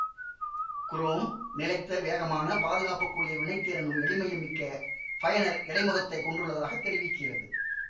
chrome நிலைத்த வேகமான பாதுகாப்பு கூடிய வினைத்திறனும் எளிமையும் மிக்க பயனர் இடைமுகத்தைக் கொண்டுள்ளதாக தெரிவிக்கிறது